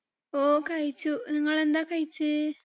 ആ കഴിച്ചു. നിങ്ങൾ എന്താ കഴിച്ചേ?